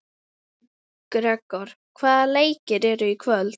Gregor, hvaða leikir eru í kvöld?